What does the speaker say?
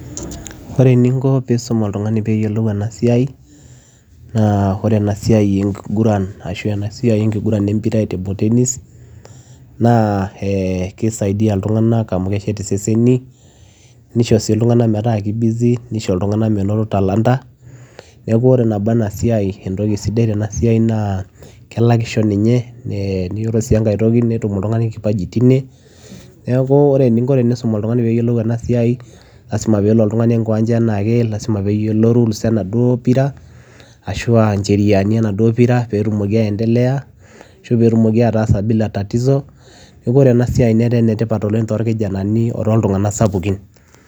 Oree eninko peyiee iisum oltunganii peyiee eyilou ena siai empiraa ee table tennis kisaidia ilntunganak menoto talanta neshet iseseni nelak si ilntunganak lazima peyiee eloo oltunganii enkiwanja ena ake niyiolou rules ee mpira peyiee etumokii aatasa neeku oree ena siai netaa enetipat tolntunganak